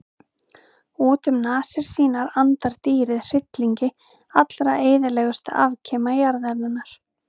Út um nasir sínar andar dýrið hryllingi allra eyðilegustu afkima jarðarinnar.